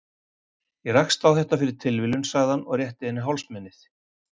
Ég rakst á þetta fyrir tilviljun, sagði hann og rétti henni hálsmenið.